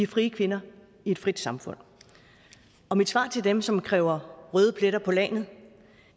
frie kvinder i et frit samfund mit svar til dem som kræver røde pletter på lagenet